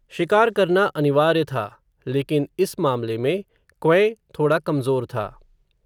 शिकार करना अनिवार्य था, लेकिन इस मामले मे, क्वैं, थोडा कमज़ोर था